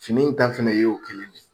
Fini in ta fana y'o kelen de ye.